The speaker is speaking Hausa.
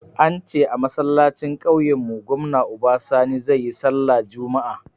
Ance a masallacin kauyen mu gwamna Uba Sani zai yi sallah juma'a